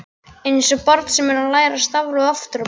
Einsog barn sem er að læra stafrófið aftur á bak.